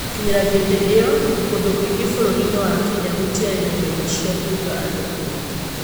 Gũkinyĩria vĩndĩ ĩyo, kũndũ kũingĩ vũrũri-inĩ wa Kenya gũtiarĩ na nyumba cia kũiga andũ akuo.